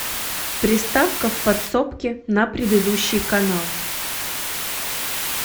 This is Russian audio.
приставка в подсобке на предыдущий канал